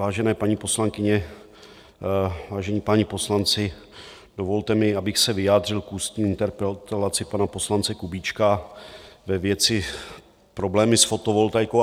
Vážené paní poslankyně, vážení páni poslanci, dovolte mi, abych se vyjádřil k ústní interpelaci pana poslance Kubíčka ve věci problémy s fotovoltaikou.